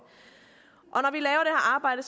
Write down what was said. arbejde